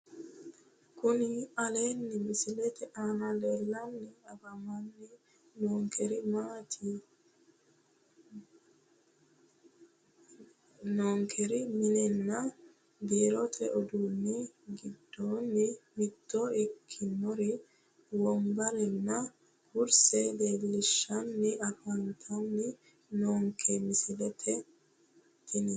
Kuni aleenni misilete aana leellanni afamanni noonkeri minninna biiirote uduunni giddonni mitto ikkinori wombarenna kurse leellishshanni afantanni noonke misileeti tini